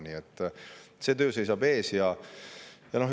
Nii et see töö seisab ees.